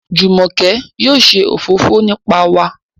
Jumoke yóò ṣe òfófó nípa wà